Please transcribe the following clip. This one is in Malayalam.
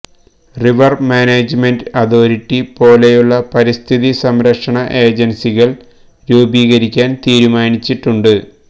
റിവർ മാനേജ്മെന്റ് അതോറിറ്റി പോലെയുള്ള പരിസ്ഥിതി സംരക്ഷണ ഏജൻസികൾ രൂപീകരിക്കാൻ തീരുമാനിച്ചിട്ടുണ്ട്